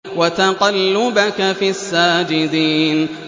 وَتَقَلُّبَكَ فِي السَّاجِدِينَ